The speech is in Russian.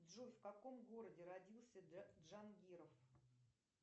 джой в каком городе родился джангиров